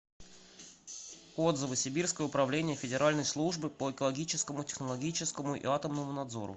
отзывы сибирское управление федеральной службы по экологическому технологическому и атомному надзору